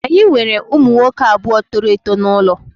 Anyị nwere ụmụ nwoke abụọ toro eto n'ụlọ